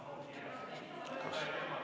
Kaja Kallas, palun!